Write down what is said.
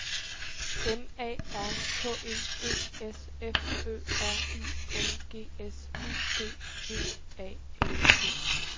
M A R K E D S F Ø R I N G S U D V A L G